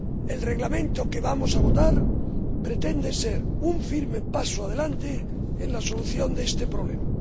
El Reglamento que vamos a votar pretende ser un firme paso adelante en la solución de este problema.